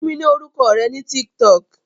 Fún mi ní orúkọ rẹ ní TikTok